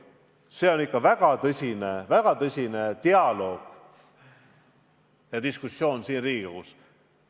See nõuab ikka väga tõsist dialoogi, diskussiooni siin Riigikogus.